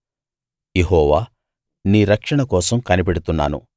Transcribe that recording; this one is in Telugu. యెహోవా నీ రక్షణ కోసం కనిపెడుతున్నాను